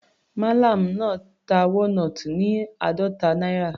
Mallam náà ta walnut ní àádọta náírà.